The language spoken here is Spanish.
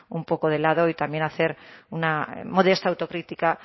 un poco de lado y también hacer una modesta autocrítica